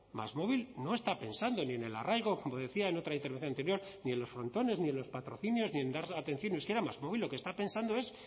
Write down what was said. másmóvil no está pensando ni en el arraigo como decía en otra intervención anterior ni en los frontones ni en los patrocinios ni en dar atención en euskera másmóvil lo que está pensando es